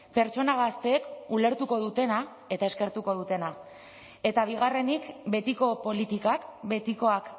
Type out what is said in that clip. pertsona gazteek ulertuko dutena eta eskertuko dutena eta bigarrenik betiko politikak betikoak